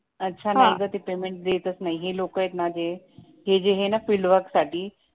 अच्छा ते लोक पेमेंट देतच नाही हे लोक आहेत ना ते हे जे आहेत ना फील्डवर्क साठी